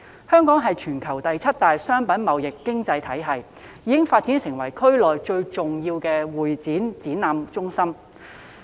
香港是全球第七大商品貿易經濟體系，已發展成為區內最重要的會議展覽中心。